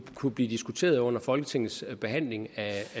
kunne blive diskuteret under folketingets behandling af